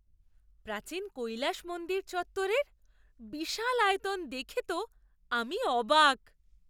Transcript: প্রাচীন কৈলাস মন্দির চত্বরের বিশাল আয়তন দেখে তো আমি অবাক!